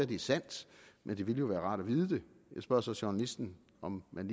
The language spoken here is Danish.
det er sandt men det ville jo være rart at vide det jeg spørger så journalisten om man